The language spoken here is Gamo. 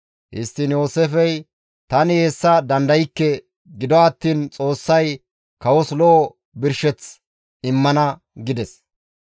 Histtiin Yooseefey, «Tani hessa dandaykke; gido attiin Xoossay kawos lo7o birsheth immana» gides.